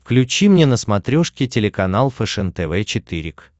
включи мне на смотрешке телеканал фэшен тв четыре к